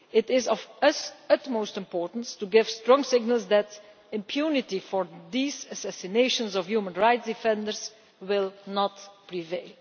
It is of the utmost importance to give strong signals that impunity for these assassinations of human rights defenders will not prevail.